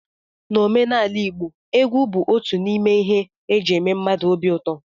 N'omenala igbo, egwu bụ otu n'ime ihe eji eme mmadụ obi ụtọ